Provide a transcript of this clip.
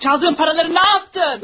Çaldığın paraları nə yaptın?